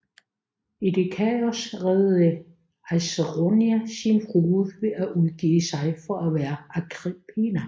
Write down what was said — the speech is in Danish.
I det kaos reddede Acerronia sin frue ved at udgive sig for at være Agrippina